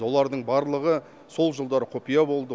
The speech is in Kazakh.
олардың барлығы сол жылдары құпия болды